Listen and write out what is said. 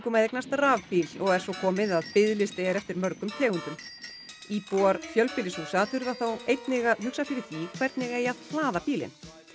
að eignast rafbíl og er svo komið að biðlisti er eftir mörgum tegundum íbúar fjölbýlishúsa þurfa þó einnig að hugsa fyrir því hvernig eigi að hlaða bílinn